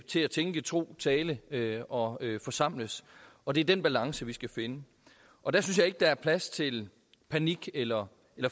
til at tænke tro tale tale og forsamles og det er den balance vi skal finde og der synes jeg ikke der er plads til panik eller